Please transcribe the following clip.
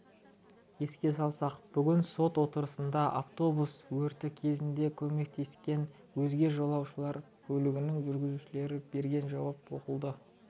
еске салсақ бүгін сот отырысында автобус өрті кезінде көмектескен өзге жолаушылар көлігінің жүргізушілері берген жауап оқылды